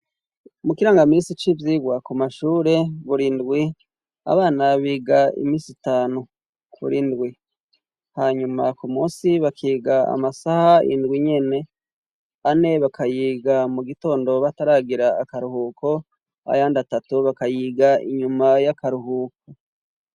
Mu kirangamisi c'ivyirwa ku mashure burindwi abana biga imisi itanu kurindwi hanyuma ku musi bakiga amasaha indwi nyene ane bakayiga mu gitondo bataragira akaruhuko ayandi atatu bakayiga inyuma y'akaruhuko.